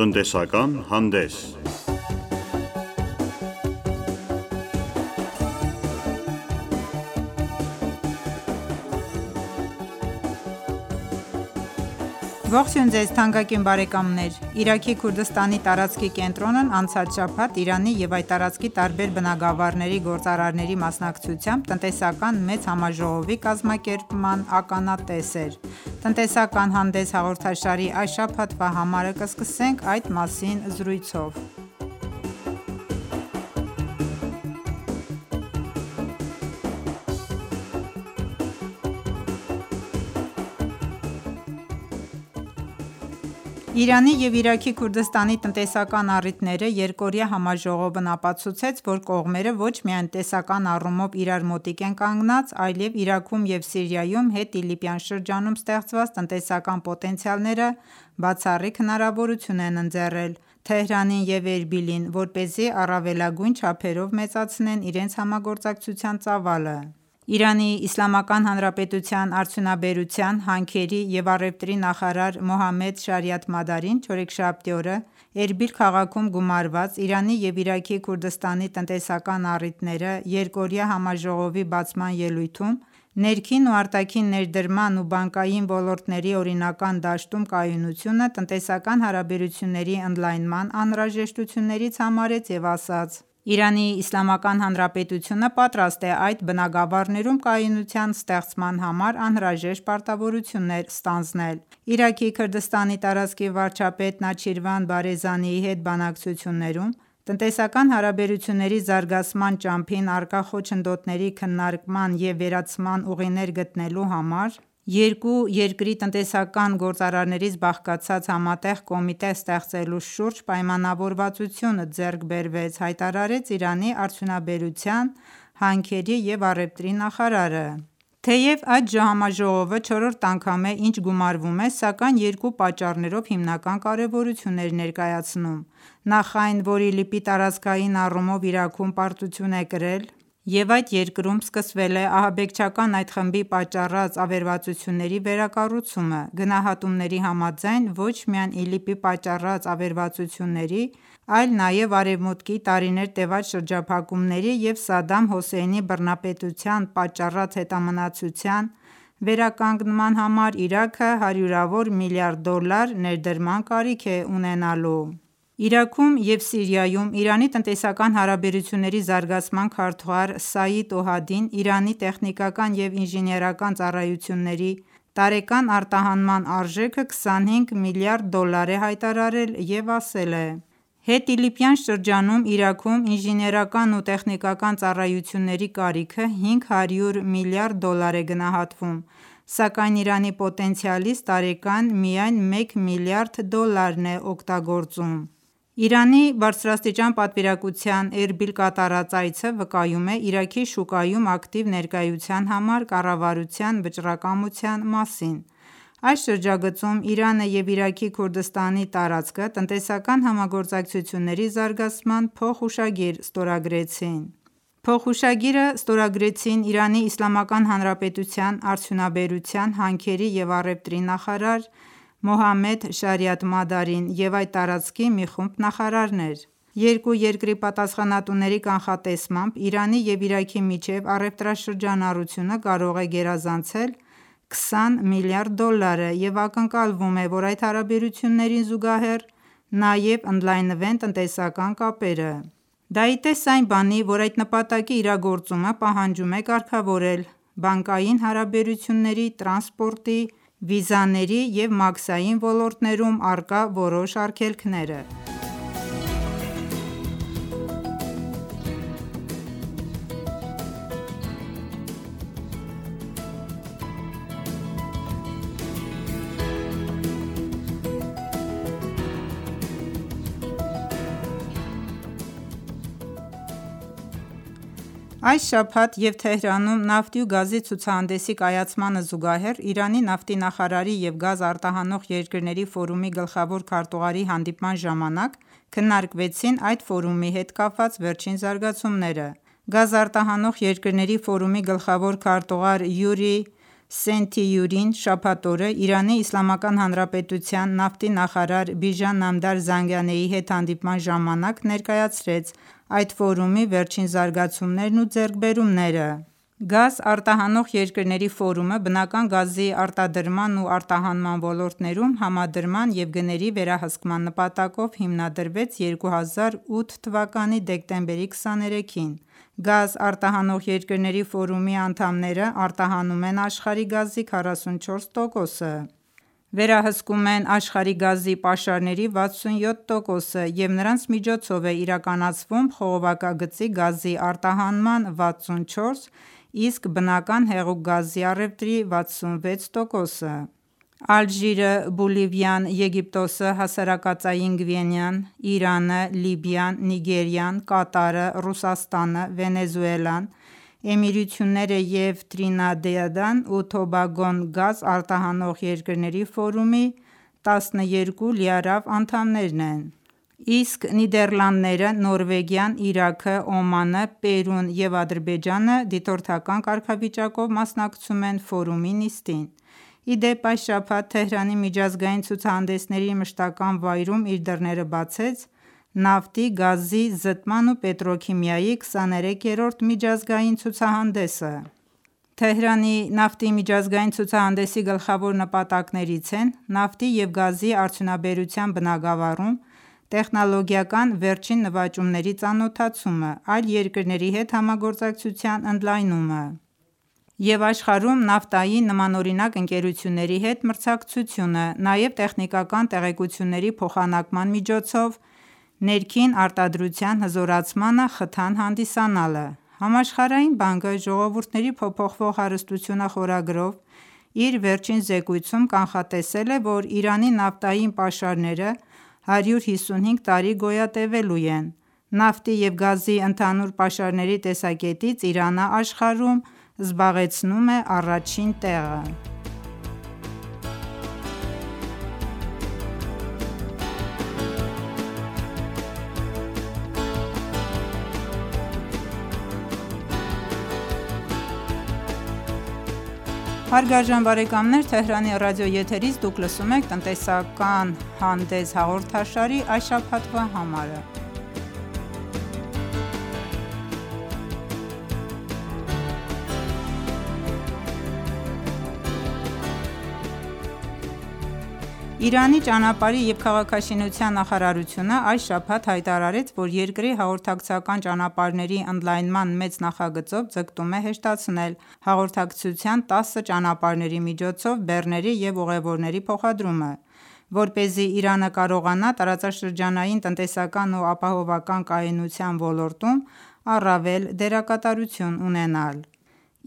Տնտեսական հանդես Ողջույն թանկագին բարեկամներ: Իրաքի Քուրդիստանի տարածքի կենտրոնն անցած շաբաթ Իրանի և այդ տարածքի տարբեր բնագավառների գործարարների մասնակցությամբ տնտեսական մեծ համաժողովի կազմակերպման ականատես էր: «Տնտեսական հանդես» հաղորդաշարի այս շաբաթվա համարը կսկսենք այդ մասին զրույցով: «Իրանի և Իրաքի Քուրդիստանի տնտեսական առիթները» երկօրյա համաժողովն ապացուցեց, որ կողմերը ոչ միայն տնտեսական առումով իրար մոտիկ են կանգնած, այլև Իրաքում ու Սիրիայում հետիլիպյան շրջանում ստեղծված տնտեսական պոտենցիալները բացառիկ հնարավորություն են ընձեռել Թեհրանին ու Էրբիլին, որպեսզի առավելագույն չափերով մեծացնեն իրենց համագործակցության ծավալը: ԻԻՀ արդյունաբերության, հանքերի և առևտրի նախարար Մոհամմեդ Շարիաթմադարին չորեքշաբթի օրը Էրբիլ քաղաքում գումարված «Իրանի և Իրաքի Քուրդիստանի տնտեսական առիթները» երկօրյա համաժողովի բացման ելույթում ներքին ու արտաքին ներդրման ու բանկային ոլորտների օրինական դաշտում կայունությունը տնտեսական հարաբերությունների ընդլայնման անհրաժեշտություններից համարեց և ասաց. «ԻԻՀ-ն պատրաստ է այդ բնագավառներում կայունության ստեղծման համար անհրաժեշտ պարտավորություններ ստանձնել»: «Իրաքի Քուրդիստանի տարածքի վարչապետ Նեչիրվան Բարզանիի հետ բանակցություններում տնտեսական հարաբերությունների զարգացման ճանապարհին առկա խոչընդոտների քննարկման ու վերացման ուղիներ գտնելու համար երկու երկրի տնտեսական գործարարներից բաղկացած համատեղ կոմիտե ստեղծելու շուրջ պայմանավորվածություն ձեռք բերվեց»,-հայտարարեց Իրանի արդյունաբերության, հանքերի ու առևտրի նախարարը: Թեև այդ համաժողովը չորրորդ անգամ է ինչ գումարվում է, սակայն երկու պատճառներով հիմնական կարևորություն էր ներկայացնում: Նախ այն որ ԻԼԻՊ-ը տարածքային առումով Իրաքում պարտություն է կրել և այդ երկրում սկսվել է ահաբեկչական այդ խմբի պատճառած ավերածությունների վերակառուցումը: Գնահատումների համաձայն ոչ միայն ԻԼԻՊ-ի պատճառած ավերածությունների, այլ նաև արևմուտքի տարիներ տևած պատժամիջոցների և Սադամ Հոսեյնի բռնապետության պատճառած հետամնացությության վերականգնման համար Իրաքը հարյուրավոր միլիարդ դոլար ներդրման կարիք է ունենալու: Իրաքում ու Սիրիայում Իրանի տնտեսական հարաբերությունների զարգացման քարտուղար Սաիդ Օհադին Իրանի տեխնիկական ու ինժեներական ծառայությունների տարեկան արտահանման արժեքը 25 միլիարդ դոլար է հայտարարել և ասել է. «Հետիլիպյան շրջանում Իրաքում ինժեներական ու տեխնիկական ծառայությունների կարիքը 500 միլիարդ դոլար է գնահատվում, սակայն Իրանի պոտենցիալից տարեկան միայն մեկ միլիարդ դոլարն է օգտագործվում»: Իրանի բարձրաստիճան պատվիրակության Էրբիլ կատարած այցը վկայում է Իրաքի շուկայում ակտիվ ներկայության համար կառավարության վճռակամության մասին: Այս շրջագծում Իրանն ու Իրաքի Քուրդիստանի տարածքը տնտեսական համագործակցությունների զարգացման փոխհուշագիր ստորագրեցին: Փոխհուշագիրը ստորագրեցին ԻԻՀ արդյունաբերության, հանքերի ու առևտրի նախարար Մոհամմեդ Շարիաթմադարին և այդ տարածքի մի խումբ նախարարներ: Երկու երկրի պատասխանատուների կանխատեսմամբ Իրանի ու Իրաքի միջև առևտրաշրջանառությունը կարող է գերազանցել 20 միլիարդ դոլարը և ակնկալվում է, որ այդ հարաբերություններին զուգահեռ նաև ընդլայնվեն տնտեսական կապերը: Դա ի տես այն բանի, որ այդ նպատակի իրագործումը պահանջում է կարգավորել բանկային հարաբերությունների, տրանսպորտի, վիզաների և մաքսային ոլորտներում առկա որոշ արգելքները: Այս շաբաթ Թեհրանում նավթի ու գազի ցուցահանդեսի կայացմանը զուգահեռ Իրանի նավթի նախարարի և Գազ արտահանող երկրների ֆորումի գլխավոր քարտուղարի հանդիպման ժամանակ քննարկվեցին այդ ֆորումի հետ կապված վերջին զարգացումները: Գազ արտահանող երկրների ֆորումի գլխավոր քարտուղար Յուրի Սենթիյուրին շաբաթ օրը ԻԻՀ նավթի նախարար Բիժան Նամդար Զանգանեի հետ հանդիպման ժամանակ ներկայացրեց այդ ֆորումի վերջին զարգացումներն ու ձեռքբերումները և Իրանի նավթի նախարարին տեղեկացրեց այդ ֆորումի առաջիկա անելիքների մասին: Գազ արտահանող երկրների ֆորումը բնական գազի արտադրման ու արտահանման ոլորտներում համադրման և գների վերահսկման նպատակով հիմնադրվեց 2008 թվականի դեկտեմբերի 23-ին: Գազ արտահանող երկրների ֆորումի անդամներն արտահանում են աշխարհի գազի 44 տոկոսը, վերահսկում են աշխարհի գազի պաշարների 67 տոկոսը և նրանց կողմից է իրականացվում խողովակագծի միջոցով գազի արտահանման 64, իսկ բնական հեղուկ գազի առևտրի 66 տոկոսը: Ալժիրը, Բոլիվիան, Եգիպտոսը, Հասարակածային Գվինեան, Իրանը, Լիբիան, Նիգերիան, Կատարը, Ռուսաստանը, Վենեսուելան, Էմիրությունները և Տրինիդադն ու Տոբագոն Գազ արտահանող երկրների ֆորումի 12 լիիրավ անդամներն են, իսկ Նիդերլանդները, Նորվեգիան, Իրաքը, Օմանը, Պերուն ու Ադրբեջանը դիտորդի կարգավիճակով են մասնակցում ֆորումի նիստին: Ի դեպ այս շաբաթ Թեհրանի միջազգային ցուցահանդեսների մշտական վայրում իր դռները բացեց Նավթի, գազի, զտման ու պետրոքիմիայի 23-րդ միջազգային ցուցահանդեսը: Թեհրանի Նավթի միջազգային ցուցահանդեսի գլխավոր նպատակներից են նավթի ու գազի արդյունաբերության բնագավառում տեխնոլոգիական վերջին նվաճումների ծանոթացումը, այլ երկրների հետ համագործակցության ընդլայնումը և աշխարհում նավթային նմանօրինակ ընկերությունների հետ մրցակցությունը, նաև տեխնիկական տեղեկությունների փոխանակման միջոցով ներքին արտադրության հզորացմանը խթան հանդիսանալը: Համաշխարհային բանկը «Ժողովուրդների փոփոխվող հարստությունը» խորագրով իր վերջին զեկույցում կանխատեսել է, որ Իրանի նավթային պաշարները 155 տարի գոյատևելու են: Նավթի ու գազի ընդհանուր պաշարների տեսակետից Իրանն աշխարհում առաջին տեղն է զբաղեցնում: Իրանի ճանապարհի և քաղաքաշինության նախարարությունն այս շաբաթ հայտարարեց, որ երկրի հաղորդակցական ճանապարհների ընդլայնման մեծ նախագծով ձգտում է հեշտացնել հաղորդակցության տասը ճանապարհների միջոցով բեռների և ուղևորների փոխադրումը, որպեսզի Իրանը կարողանա տարածաշրջանային տնտեսական ու ապահովական կայունության ոլորտում ակտիվ դերակատարություն ունենալ: